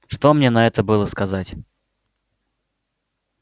что мне на это было сказать